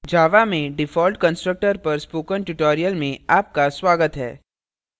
java java में default constructor पर spoken tutorial में आपका स्वागत है